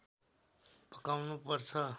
पकाउनु पर्छ